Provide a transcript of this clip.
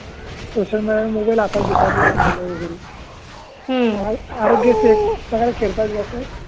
social media मुळे mobile हातात घेतात लहान मुल वगैरे हम्म आराेग्याशी एकप्रकार खेलखाड करतात